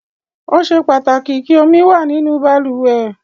Ó ṣe pàtàkì kí omi wà nínú balùwẹ̀.